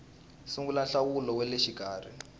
sungula nhlawulo wa le xikarhi